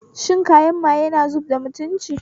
Shan kayan maye na zubda mutunci